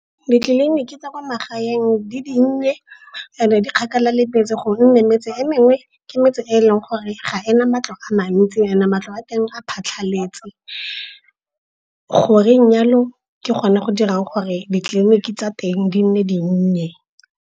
Ditleliniki tsa kwa magaeng di dinnye and-e di kgakala le metse gonne metse e mengwe ke metse eleng gore ga ena matlo a mantsi and-e matlo a teng a phatlhaletse. Go reng yalo ke gone go dirang gore ditleliniki tsa teng di nne dinnye.